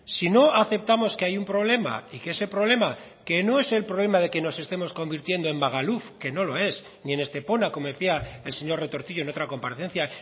si no aceptamos que hay un problema y que ese problema que no es el problema de que nos estemos convirtiendo en magaluf que no lo es ni en estepona como decía el señor retortillo en otra comparecencia